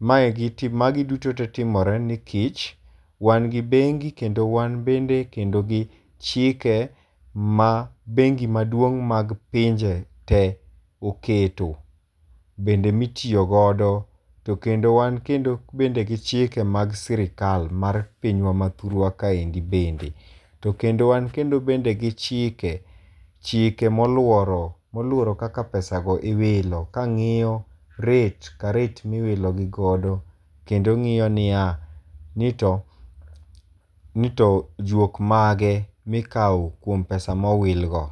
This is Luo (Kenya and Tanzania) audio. Maegi magi duto te timore nikech, wan gi bengi kendo wan bende kendo gi chike ma bengi maduong' mag pinje te oketo. Bende mitiyogodo to kendo wan kendo bende gi chike mag sirkal mar pinywa ma thurwa kaendi bende. To kendo wan kendo bende gi chike, chike moluoro, moluoro kaka pesa go iwilo, kang'iyo rate ka rate miwilo gi godo. Kendo ng'iyo ni ya, ni to, ni to juok mage mikawo kuom pesa mowil go.